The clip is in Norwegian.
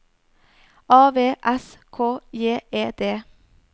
A V S K J E D